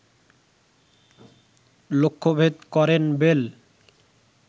লক্ষ্যভেদ করেন বেল